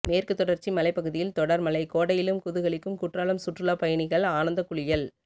மேற்கு தொடர்ச்சி மலைப்பகுதியில் தொடர் மழை கோடையிலும் குதூகலிக்கும் குற்றாலம் சுற்றுலா பயணிகள் ஆனந்த குளியல்